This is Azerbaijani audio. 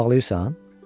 ağlayırsan?